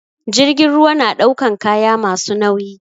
Jirgin ruwa na ɗaukan kaya masu nauyi